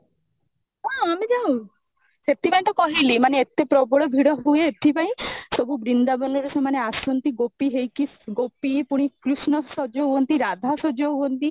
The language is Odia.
ହଁ ଆମେ ଯାଉ, ସେଥିପାଇଁ ତ କହିଲି ମାନେ ଡ ପ୍ରବଳ ଭିଡ଼ ହୁଏ ଏଥିପାଇଁ ସବୁ ବୃନ୍ଦାବନର ସେମାନେ ଆସନ୍ତି ଗୋପୀ ହେଇକି ଗୋପୀ ପୁଣି କୃଷ୍ଣ ସଜ ହୁଅନ୍ତି ରାଧା ସଜ ହୁଅନ୍ତି